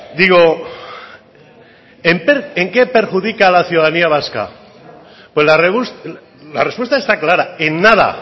digo en qué perjudica a la ciudadanía vasca la respuesta está clara en nada